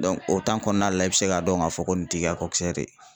o kɔnɔna la, i bi se k'a dɔn k'a fɔ ko nin t'i ka ye